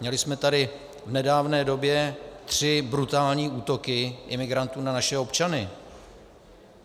Měli jsme tady v nedávné době tři brutální útoky imigrantů na naše občany.